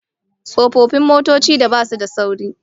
Tsofaffin motocin da basu da sauri